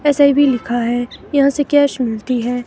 SEB लिखा है यहां से कैश मिलती है.